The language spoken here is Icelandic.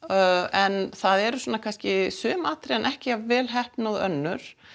en það eru svona kannski sum atriðin ekki jafn vel heppnuð og önnur